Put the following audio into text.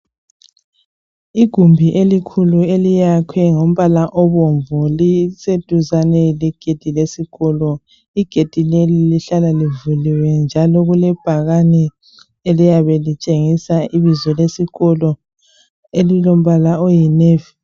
Igumbi elikhulu eliyakhwe ngombala obomvu liseduzane legedi lesikolo. Igedi leli lihlala livuliwe njalo kulebhakani eliyabe litshengisa ibizo lesikolo elilombala oyi navy.